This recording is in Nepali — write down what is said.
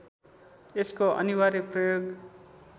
यसको अनिवार्य प्रयोग